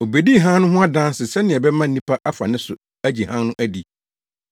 Obedii hann no ho adanse sɛnea ɛbɛma nnipa afa ne so agye hann no adi.